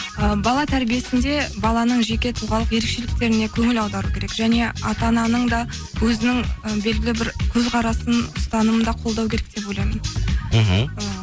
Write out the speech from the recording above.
і бала тәрбиесінде баланың жеке тұлғалық ерекшеліктеріне көңіл аудару керек және ата ананың да өзінің і белгілі бір көзқарасын ұстанымын да қолдау керек деп ойлаймын мхм